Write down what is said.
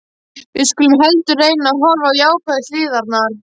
Við skulum heldur reyna að horfa á jákvæðu hliðarnar.